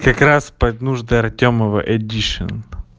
как раз под нужды артёмова эдишн